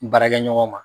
Baarakɛ ɲɔgɔn ma